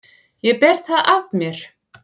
Ég ber það af mér.